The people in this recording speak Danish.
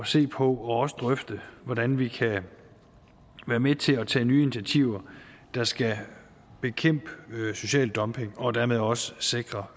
se på og også drøfte hvordan vi kan være med til at tage nye initiativer der skal bekæmpe social dumping og dermed også sikre